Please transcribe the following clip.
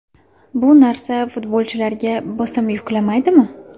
Bu narsa futbolchilarga bosim yuklamaydimi?